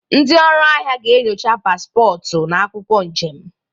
Ndị ọrụ ahịa ga-enyocha paspọtụ na akwụkwọ njem.